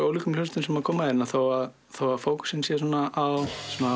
ólíkum hljómsveitum sem koma fram hérna þó þó að fókusinn sé á